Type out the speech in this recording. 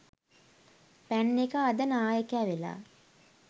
පැන්න එකා අද නායකය වෙලා.